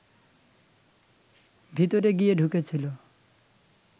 ভিতরে গিয়ে ঢুকেছিল